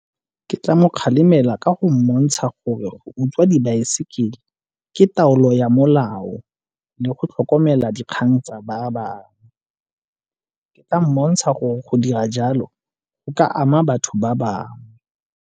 Ke tla mo kgalemela ka go mmontsha gore go tswa dibaesekele ke taolo ya molao le go tlhokomela dikgang tsa ba bangwe. Ke tla mmontsha gore go dira jalo go ka ama batho ba bangwe.